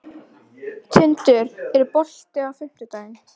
Tindur, er bolti á fimmtudaginn?